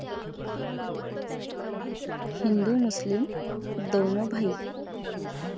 हिंदु मुस्लीम दोनों भाई